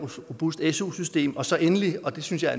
robust su system og så endelig og det synes jeg